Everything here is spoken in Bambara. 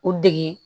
U dege